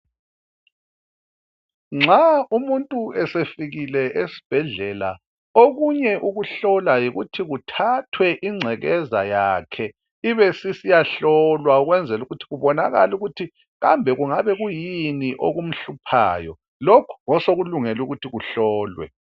Nxa umuntu esefikile esibhedlela okunye ukuhlola yikuthi kuthathwe ingcekeza yakhe ibe sisiyahlolwa ukwenzela ukuthi kubonakale ukuthi kambe kungabe kuyini okumhluphayo. Lokhu ngosokulungele ukuthi kuhlolwe.